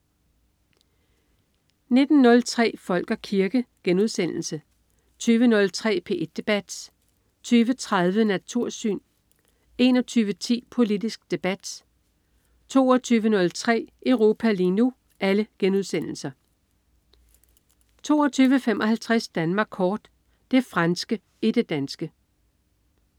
19.03 Folk og kirke* 20.03 P1 debat* 20.30 Natursyn* 21.10 Politisk Debat* 22.03 Europa lige nu* 22.55 Danmark Kort. Det franske i det danske